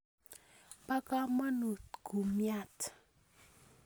Po kamonut kumyat